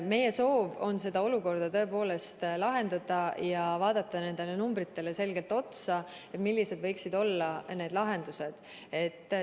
Meie soov on tõepoolest see olukord lahendada ja vaadata nendele numbritele selgelt otsa, et mõelda, millised võiksid olla lahendused.